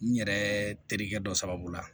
N yɛrɛ terikɛ dɔ sababu la